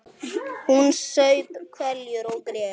Hún saup hveljur og grét.